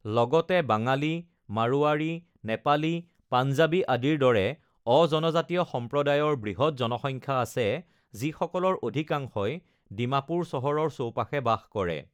লগতে বাঙালী, মাৰোৱাৰী, নেপালী, পাঞ্জাৱী আদিৰ দৰে অ-জনজাতীয় সম্প্ৰদায়ৰ বৃহৎ জনসংখ্যা আছে যিসকলৰ অধিকাংশই ডিমাপুৰ চহৰৰ চৌপাশে বাস কৰে।